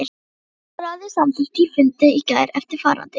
Háskólaráðið samþykkti á fundi í gær eftirfarandi